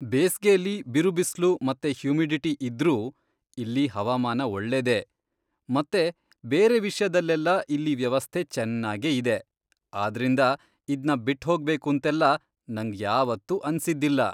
ಬೇಸ್ಗೆಲಿ ಬಿರುಬಿಸ್ಲು ಮತ್ತೆ ಹ್ಯುಮಿಡಿಟಿ ಇದ್ರೂ ಇಲ್ಲೀ ಹವಾಮಾನ ಒಳ್ಳೇದೇ, ಮತ್ತೆ ಬೇರೆ ವಿಷ್ಯದಲ್ಲೆಲ್ಲ ಇಲ್ಲಿ ವ್ಯವಸ್ಥೆ ಚೆನ್ನಾಗೇ ಇದೆ. ಆದ್ರಿಂದ ಇದ್ನ ಬಿಟ್ಹೋಗ್ಬೇಕೂಂತೆಲ್ಲ ನಂಗ್ ಯಾವತ್ತೂ ಅನ್ಸಿದ್ದಿಲ್ಲ.